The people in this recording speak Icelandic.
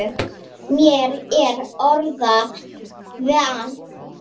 Mér er orða vant.